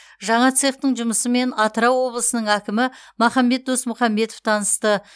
жаңа цехтың жұмысымен атырау облысының әкімі махамбет досмұхамбетов танысты